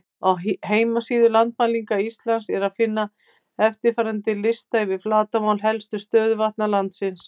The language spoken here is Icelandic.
Á heimasíðu Landmælinga Íslands er að finna eftirfarandi lista yfir flatarmál helstu stöðuvatna landsins: